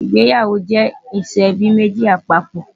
ìgbéyàwó jẹ ìsọ ẹbí méjì papọ̀